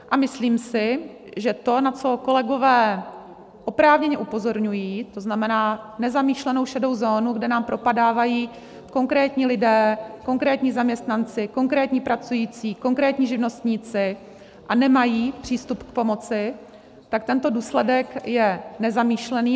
A myslím si, že to, na co kolegové oprávněně upozorňují, to znamená nezamýšlenou šedou zónu, kde nám propadávají konkrétní lidé, konkrétní zaměstnanci, konkrétní pracující, konkrétní živnostníci, a nemají přístup k pomoci, tak tento důsledek je nezamýšlený.